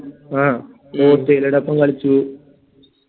അഹ് ന്നെ ഇറ്റലിയെടൊപ്പം കളിച്ചു